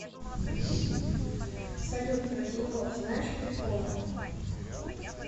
салют про тинькофф знаешь приколы